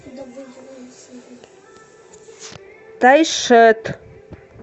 тайшет